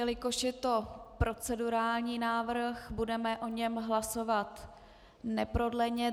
Jelikož je to procedurální návrh, budeme o něm hlasovat neprodleně.